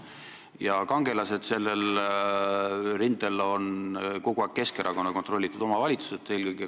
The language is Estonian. Ja kangelased on sellel rindel kogu aeg olnud eelkõige Keskerakonna kontrollitud omavalitsused.